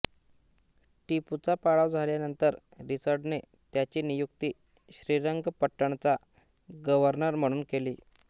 टिपूचा पाडाव झाल्यानंतर रिचर्डने त्याची नियुक्ती श्रीरंगपट्ट्णचा गव्हर्नर म्हणून केली